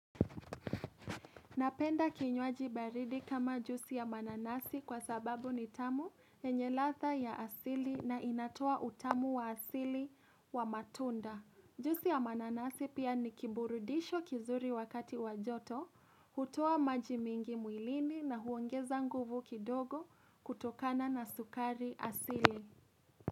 Napenda kinywaji baridi kama jusi ya mananasi kwa sababu ni tamu yenye ladhaa ya asili na inatoa utamu wa asili wa matunda. Jusi ya mananasi pia ni kiburudisho kizuri wakati wajoto, hutoa maji mwingi mwilini na huongeza nguvu kidogo kutokana na sukari asili.